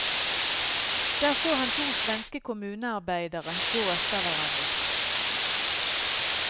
Der så han to svenske kommunearbeiderer gå etter hverandre.